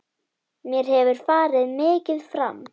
Mér hefur farið mikið fram.